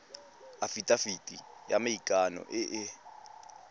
afitafiti ya maikano e e